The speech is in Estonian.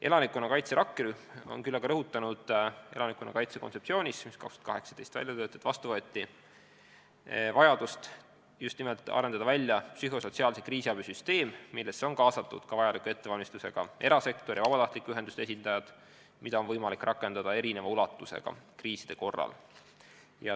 Elanikkonnakaitse rakkerühm on aga elanikkonnakaitse kontseptsioonis, mis töötati välja 2018. aastal, rõhutanud vajadust arendada välja psühhosotsiaalse kriisiabi süsteem, millesse on kaasatud vajaliku ettevalmistusega erasektor ja vabatahtlikue ühenduste esindajad, keda on võimalik olenevalt kriisi suurusest rakendada.